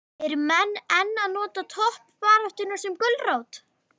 Eru menn enn að nota toppbaráttuna sem gulrót?